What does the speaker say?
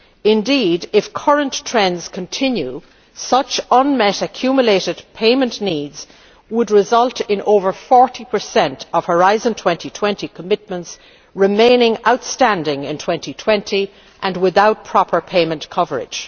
Indeed, if current trends continue, such unmet accumulated payment needs would result in more than 40 of Horizon 2020 commitments remaining outstanding in 2020 and without proper payment coverage.